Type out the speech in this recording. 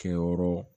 Kɛyɔrɔ